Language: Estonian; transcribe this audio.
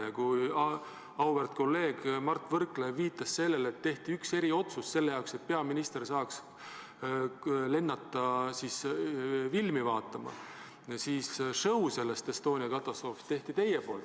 Ja kui auväärt kolleeg Mart Võrklaev viitas sellele, et tehti üks eriotsus selle jaoks, et peaminister saaks lennata filmi vaatama, siis show sellest Estonia katastroofist tegite teie.